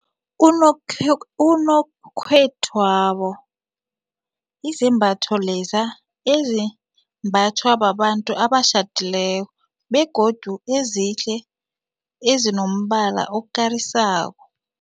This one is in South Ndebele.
Unokhethwabo yizembatho leza ezimbathwa babantu abatjhadileko begodu ezihle ezinombala okarisako.